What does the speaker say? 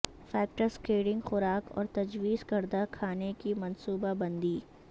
factor skating خوراک اور تجویز کردہ کھانے کی منصوبہ بندی